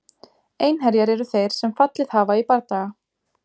Einherjar eru þeir sem fallið hafa í bardaga.